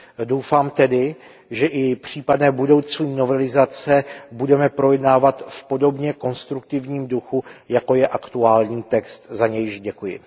Doufám tedy, že i případné budoucí novelizace budeme projednávat v podobně konstruktivním duchu, jako je aktuální text, za nějž děkuji.